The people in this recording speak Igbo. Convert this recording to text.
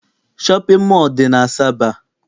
Shọpịn mọọ dị n'Asaba.